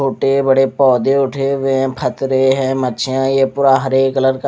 छोटे बड़े पोधे उठे हुए है फतरे है मछिया ये पूरा हरे कलर का--